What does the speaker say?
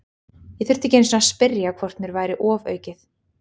Ég þurfti ekki einu sinni að spyrja hvort mér væri ofaukið.